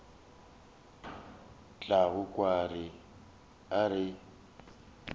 o tla kwa a re